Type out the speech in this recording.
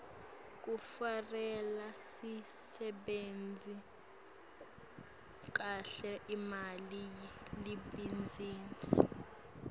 kufarele sisebentise kahle imali yelibhizinisi